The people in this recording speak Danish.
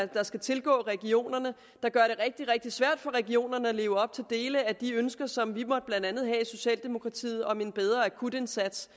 der skal tilgå regionerne der gør det rigtig rigtig svært for regionerne at leve op til dele af de ønsker som vi blandt andet i socialdemokratiet om en bedre akutindsats